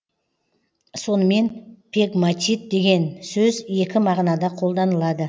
сонымен пегматит деген сөз екі мағынада қолданылады